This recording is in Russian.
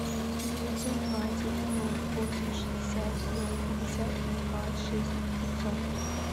девятьсот двадцать ноль восемь шестьдесят ноль пятьдесят два шесть пятьсот